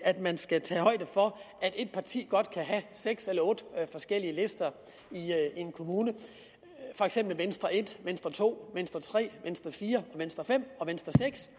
at man skal tage højde for at et parti godt kan have seks eller otte forskellige lister i en kommune for eksempel venstre en venstre to venstre tre venstre fire venstre fem og venstre seks